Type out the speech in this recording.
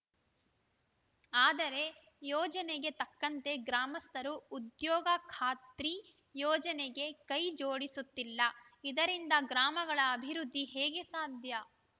ಆದರೆ ಯೋಜನೆಗೆ ತಕ್ಕಂತೆ ಗ್ರಾಮಸ್ಥರು ಉದ್ಯೋಗ ಖಾತ್ರಿ ಯೋಜನೆಗೆ ಕೈ ಜೋಡಿಸುತ್ತಿಲ್ಲ ಇದರಿಂದ ಗ್ರಾಮಗಳ ಅಭಿವೃದ್ಧಿ ಹೇಗೆ ಸಾಧ್ಯ